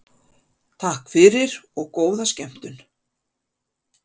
Takk fyrir og góða skemmtun.